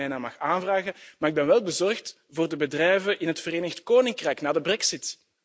.eu domeinnaam mag aanvragen, maar ik ben wel bezorgd voor de bedrijven in het Verenigd Koninkrijk na de Brexit.